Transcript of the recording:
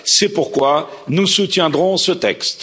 C'est pourquoi nous soutiendrons ce texte.